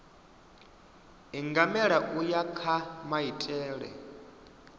ingamela u ya kha maitele